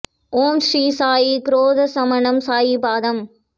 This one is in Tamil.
ஓம் ஸ்ரீ சாயி க்ரோதசமணம் சாயி பாதம்